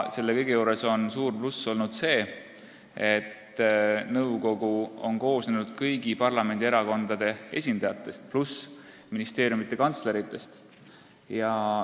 Selle juures on suur pluss olnud see, et nõukogu on koosnenud kõigi parlamendierakondade esindajatest pluss ministeeriumide kantsleritest.